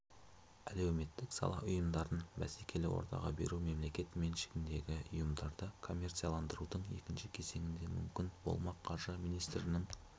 әлеуметтік сала ұйымдарын бәсекелі ортаға беру мемлекет меншігіндегі ұйымдарды коммерцияландырудың екінші кезеңінде мүмкін болмақ қаржы министрінің